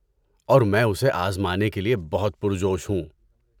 اور میں اسے آزمانے کے لیے بہت پرجوش ہوں۔